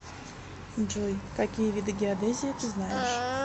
джой какие виды геодезия ты знаешь